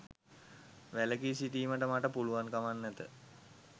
වැළකී සිටීමට මට පුළුවන්කමක් නැත.